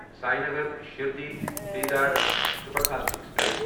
Sengar Shirdi Dadar superfast express